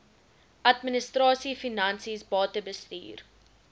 administrasie finansies batebestuur